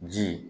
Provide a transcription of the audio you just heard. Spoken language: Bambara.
Ji